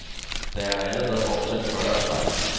Der er allerede opsat fyrre af slagsen.